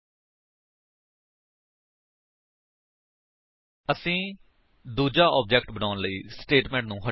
ਅਸੀ ਵੇਖ ਸੱਕਦੇ ਹਾਂ ਕਿ ਇੱਥੇ roll no ਅਤੇ ਨਾਮੇ ਇਸ ਕਲਾਸ ਦੇ ਇੰਸਟੈਂਸ ਫੀਲਡਜ਼ ਹਨ